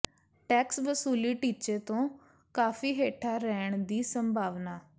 tax ਵਸੂਲੀ ਟੀਚੇ ਤੋਂ ਕਾਫੀ ਹੇਠਾਂ ਰਹਿਣ ਦੀ ਸੰਭਾਵਨਾ